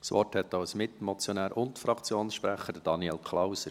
Das Wort hat als Mitmotionär und Fraktionssprecher Daniel Klauser.